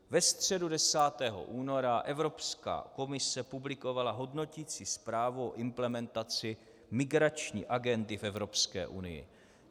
Ve středu 10. února Evropská komise publikovala hodnoticí zprávu o implementaci migrační agendy v Evropské unii.